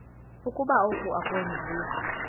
ukuba oku akwenziwa